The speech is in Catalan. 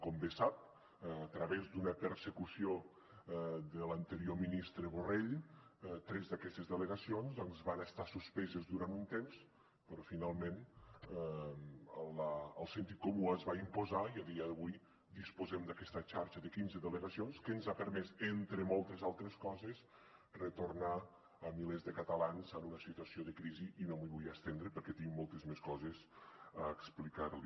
com bé sap a través d’una persecució de l’anterior ministre borrell tres d’aquestes delegacions doncs van estar suspeses durant un temps però finalment el sentit comú es va imposar i a dia d’avui disposem d’aquesta xarxa de quinze delegacions que ens ha permès entre moltes altres coses retornar milers de catalans en una situació de crisi i no m’hi vull estendre perquè tinc moltes més coses a explicar li